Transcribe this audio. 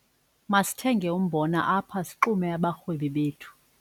Masithenge umbona apha sixume abarhwebi bethu.